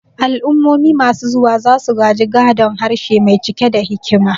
Al'ummomi masu zuwa za su gaji gadon harshe mai cike da hikima.